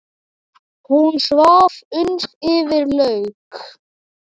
Hún svaf uns yfir lauk.